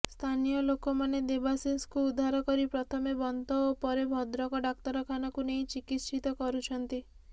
ସ୍ଥାନୀୟ ଲୋକମାନେ ଦେବାଶିଷଙ୍କୁ ଉଦ୍ଧାର କରି ପ୍ରଥମେ ବନ୍ତ ଓ ପରେ ଭଦ୍ରକ ଡାକ୍ତରଖାନାକୁ ନେଇ ଚିକିତ୍ସିତ କରୁଛନ୍ତି